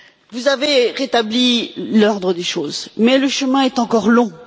Vous avez rétabli l'ordre des choses, mais le chemin est encore long.